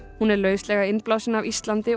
hún er lauslega innblásin af Íslandi og